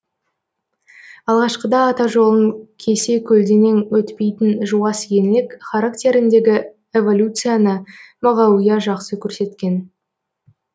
алғашқыда ата жолын кесе көлденең өтпейтін жуас еңлік характеріндегі эволюцияны мағауия жақсы көрсеткен